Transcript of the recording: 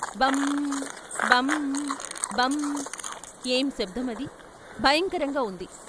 భం భం భం ఏం శబ్దం అది. భయంకరంగా ఉంది.